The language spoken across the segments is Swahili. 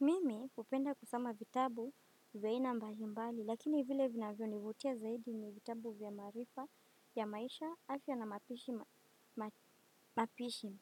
Mimi hupenda kusoma vitabu vya aina mbalimbali, lakini vile vinavyo nivutia zaidi ni vitabu vya marifa ya maisha afya na mapishi.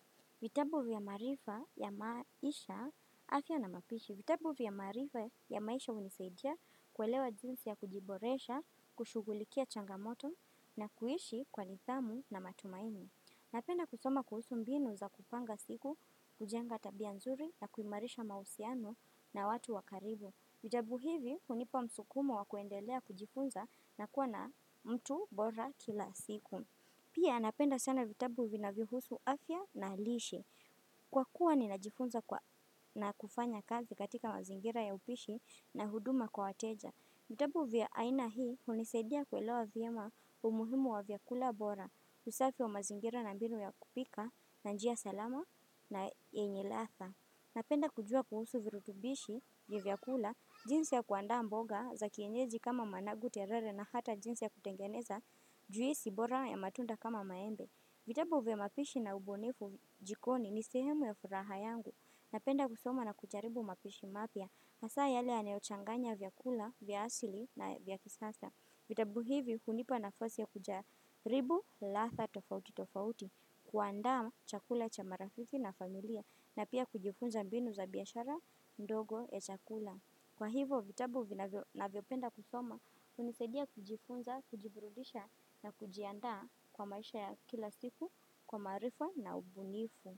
Vitabu vya marifa ya maisha afya na mapishi. Vitabu vya marifa ya maisha hunisaidia kuelewa jinsi ya kujiboresha, kushugulikia changamoto na kuishi kwa nithamu na matumaini. Napenda kusoma kuhusu mbinu za kupanga siku, kujenga tabia nzuri na kuimarisha mausiano na watu wa karibu. Vitabu hivi, hunipa msukumo wa kuendelea kujifunza na kuwa na mtu bora kila siku. Pia, napenda sana vitabu vinavyo husu afya na lishe. Kwa kuwa, ninajifunza na kufanya kazi katika mazingira ya upishi na huduma kwa wateja. Vitabu vya aina hii, hunisadia kuelewa vyema umuhimu wa vyakula bora, usafi wa mazingira na mbinu ya kupika, na njia salama na yenye latha. Napenda kujua kuhusu virutubishi ya vyakula, jinsi ya kuanda mboga, za kienjeji kama managu terere na hata jinsi ya kutengeneza, juisi bora ya matunda kama maembe. Vitabu vya mapishi na ubonifu jikoni ni sehemu ya furaha yangu na penda kusoma na kujaribu mapishi mapya hasaa yale yanayochanganya vyakula, vya asili na vya kisasa. Vitabu hivi hunipa na fasi ya kujaribu, latha, tofauti, tofauti, kuanda chakula cha marafiki na familia na pia kujifunza mbinu za biashara ndogo ya chakula. Kwa hivo vitabu na vyopenda kusoma unisedia kujifunza, kujiburudisha na kujianda kwa maisha ya kila siku kwa marifa na ubunifu.